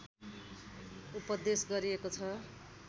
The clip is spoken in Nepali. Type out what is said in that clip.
उपदेश गरिएको छ